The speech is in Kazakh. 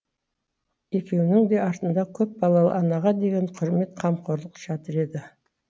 екеуінің де артында көпбалалы анаға деген құрмет қамқорлық жатыр еді